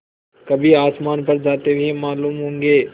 कभी आसमान पर जाते हुए मालूम होंगे